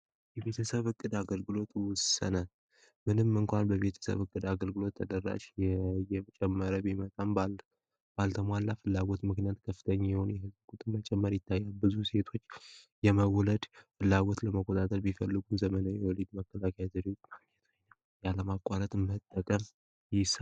የቤተሰብ እቅድ አገልግሎት ውሰነ ምንም እንኳን በቤተሰብ እቅድ አገልግሎት ተደራች የጨመረ ቢመጣም ባልተሟላ ፍላዎት ምክንያት ከፍተኝ የሆኑ የህዝብ ቁጥ መጨመር ይታያ ብዙ ሴቶች የመውለድ ፍላወት ለመቆጣተል ቢፈልጉን ዘመናዊ የውሌድ መከላከያ ዘዴውት መግኘቶሆ ነም ያለማቋረት መጠቀም፡፡